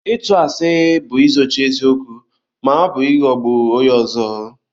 ịtù àsị bu izóchi eziokwu ma ọ bu ịghọgbu onye ọzọ